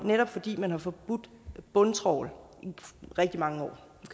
netop fordi man har forbudt bundtrawl i rigtig mange år